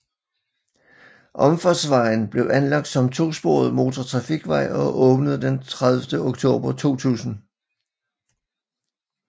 Omfartsvejen blev anlagt som 2 sporet motortrafikvej og åbende den 30 oktober 2000